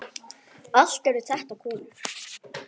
Allt eru þetta konur.